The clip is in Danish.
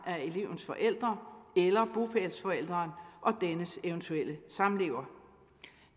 af elevens forældre eller bopælsforælderen og dennes eventuelle samlever